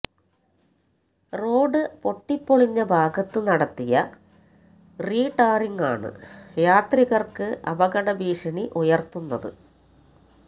road പൊട്ടിപ്പൊളിഞ്ഞ ഭാഗത്ത് നടത്തിയ റീടാറിങ്ങാണ് യാത്രികർക്ക് അപകട ഭീഷണി ഉയർത്തുന്നത്